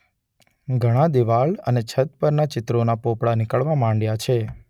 ઘણા દિવાલ અને છત પરના ચિત્રોના પોપડા નીકળવા માંડ્યાં છે.